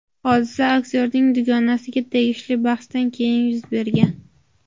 Hodisa aktyorning dugonasiga tegishli bahsdan keyin yuz bergan.